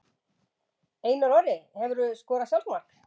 Einar Orri Hefurðu skorað sjálfsmark?